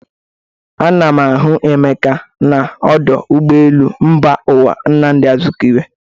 Ana m ahụ Emeka nọ n'ọdụ ụgbọelu mba ụwa Nnamdị Azikiwe.